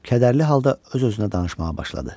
Kədərli halda öz-özünə danışmağa başladı.